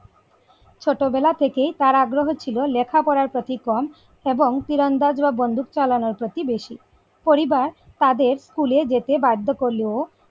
ছোটবেলা থেকেই তার আগ্রহ ছিল লেখাপড়ার প্রতি কম এবং তীরন্দাজ বা বন্দুক চালানোর প্রতি বেশী পরিবার তাদের school এ যেতে বাধ্য করলেও,